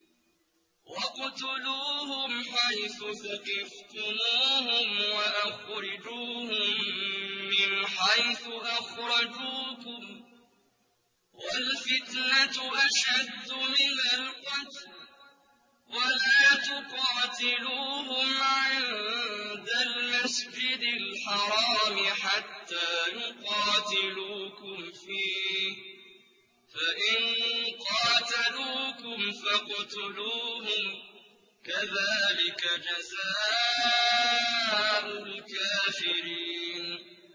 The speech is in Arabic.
وَاقْتُلُوهُمْ حَيْثُ ثَقِفْتُمُوهُمْ وَأَخْرِجُوهُم مِّنْ حَيْثُ أَخْرَجُوكُمْ ۚ وَالْفِتْنَةُ أَشَدُّ مِنَ الْقَتْلِ ۚ وَلَا تُقَاتِلُوهُمْ عِندَ الْمَسْجِدِ الْحَرَامِ حَتَّىٰ يُقَاتِلُوكُمْ فِيهِ ۖ فَإِن قَاتَلُوكُمْ فَاقْتُلُوهُمْ ۗ كَذَٰلِكَ جَزَاءُ الْكَافِرِينَ